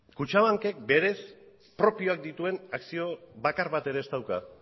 kutxabankek berez propioak dituen akzio bakar bat ere ez dauka